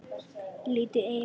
Lítið í eigin barm.